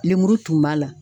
Lemuru tun b'a la.